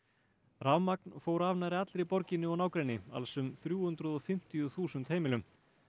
rafmagn fór af nærri allri borginni og nágrenni alls um þrjú hundruð og fimmtíu þúsund heimilum